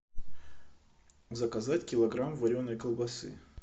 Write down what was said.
заказать килограмм вареной колбасы